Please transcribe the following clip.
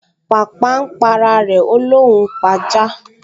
Pàpà n p’ara rẹ̀, ó l’óun ó p’ajá